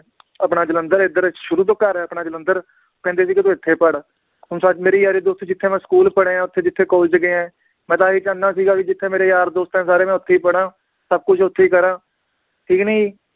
ਆਪਣਾ ਜਲੰਧਰ ਏਧਰ ਸ਼ੁਰੂ ਤੋਂ ਘਰ ਆ ਆਪਣਾ ਜਲੰਧਰ ਕਹਿੰਦੇ ਵੀ ਕਿ ਤੂੰ ਇਥੇ ਪੜ੍ਹ ਹੁਣ ਸ~ ਮੇਰੀ ਯਾਰੀ ਦੋਸਤੀ ਜਿਥੇ ਮੈ school ਪੜ੍ਹਿਆ ਓਥੇ ਜਿਥੇ college ਗਿਆ ਮੈ ਤਾਂ ਆਹ ਹੀ ਚਾਹੁੰਦਾ ਸੀਗਾ ਵੀ ਜਿਥੇ ਮੇਰੇ ਯਾਰ ਦੋਸਤ ਆ ਸਾਰੇ ਮੈ ਓਥੇ ਈ ਪੜ੍ਹਾਂ, ਸਬ ਕੁਛ ਓਥੇ ਈ ਕਰਾਂ